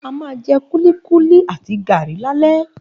A máa jẹ kúlíkúlí àti gàrí lálẹ́